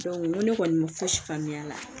n ko ne kɔni ma fosi faamuya a la